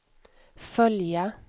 följa